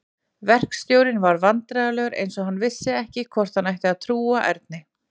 Verkstjórinn varð vandræðalegur eins og hann vissi ekki hvort hann ætti að trúa Erni.